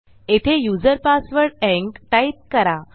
येथे user password ENC type करा